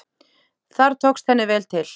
Þar tókst henni vel til.